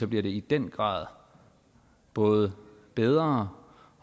bliver det i den grad både bedre